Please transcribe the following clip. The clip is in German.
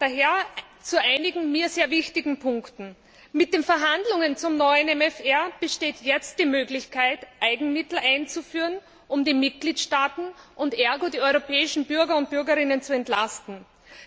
Daher zu einigen mir sehr wichtigen Punkten Mit den Verhandlungen zum neuen MFR besteht jetzt die Möglichkeit, Eigenmittel einzuführen, um die Mitgliedstaaten und ergo die europäischen Bürger und Bürgerinnen zu entlasten.